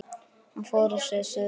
Hann fór að segja sögu.